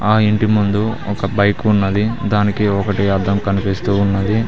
ఆ ఇంటి ముందు ఒక బైకు ఉన్నది దానికి ఒకటి అద్దం కనిపిస్తూ ఉన్నది.